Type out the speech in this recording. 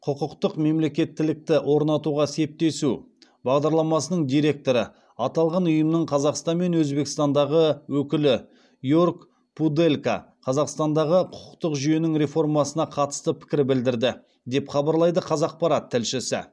құқықтық мемлекеттілікті орнатуға септесу бағдарламасының директоры аталған ұйымның қазақстан мен өзбекстандағы өкілі йорг пуделька қазақстандағы құқықтық жүйенің реформасына қатысты пікір білдірді деп хабарлайды қазақпарат тілшісі